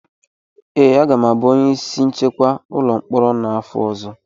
ee, aga m abụ onye isi nchekwa ụlọ mkpọrọ a n’afọ ọzọ